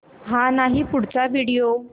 हा नाही पुढचा व्हिडिओ